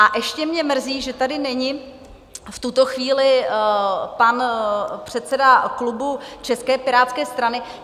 A ještě mě mrzí, že tady není v tuto chvíli pan předseda klubu České pirátské strany.